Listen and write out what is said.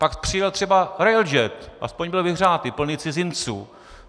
Pak přijel třeba RailJet, aspoň byl vyhřátý, plný cizinců.